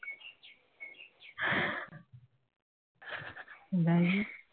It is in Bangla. যাই হোক